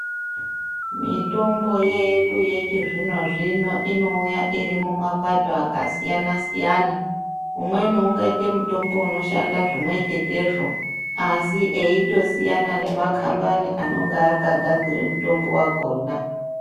Mitombo yedu yechizvino-zvino, inouya iri mumapato akasiyana-siyana .Umweni ungaite mutombo inoshanda zvimwe chetezvo, asi eitosiyana nemakhambani acho anonga akagadzire mutombo wakhona.